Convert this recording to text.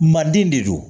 Manden de don